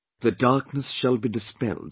The darkness shall be dispelled